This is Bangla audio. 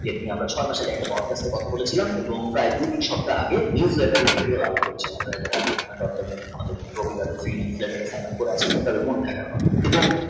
একটা গল্পর কথা বলেছিলাম এবং এক দুই তিন সপ্তাহ আগে newsletter এ video up করেছিলাম